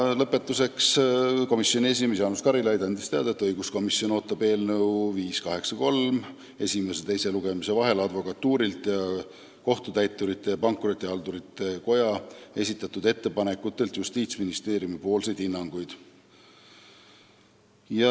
Lõpetuseks, komisjoni esimees Jaanus Karilaid andis teada, et õiguskomisjon ootab eelnõu 583 esimese ja teise lugemise vahel advokatuuri ning Kohtutäiturite ja Pankrotihaldurite Koja esitatud ettepanekutele Justiitsministeeriumi hinnanguid.